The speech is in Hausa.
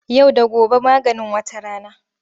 Yau da gobe maganin wata rana.